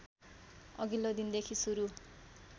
अघिल्लो दिनदेखि सुरु